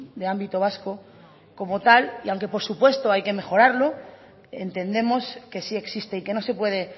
de ámbito vasco como tal y aunque por supuesto hay que mejorarlo entendemos que sí existe y que no se puede